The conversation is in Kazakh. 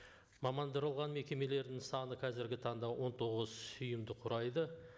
мамандырылған мекемелердің саны қазіргі таңда он тоғыз ұйымды құрайды